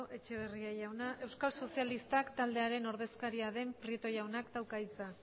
etxeberria jauna euskal sozialistak taldearen ordezkaria den prieto jaunak dauka hitza